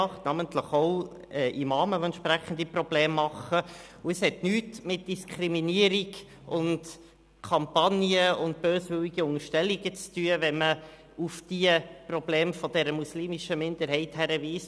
Es sind namentlich auch Imame, die entsprechende Probleme machen, und es hat nichts mit Diskriminierung und Kampagnen und böswilligen Unterstellungen zu tun, wenn man auf die Probleme dieser muslimischen Minderheit hinweist.